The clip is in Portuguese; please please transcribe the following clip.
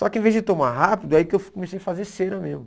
Só que em vez de tomar rápido, é aí que eu comecei a fazer cena mesmo.